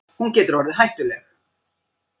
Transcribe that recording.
Hún getur orðið hættuleg.